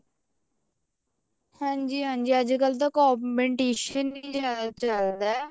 ਹਾਂਜੀ ਹਾਂਜੀ ਅੱਜਕਲ ਤਾਂ competition ਈ ਜਿਆਦਾ ਚੱਲਦਾ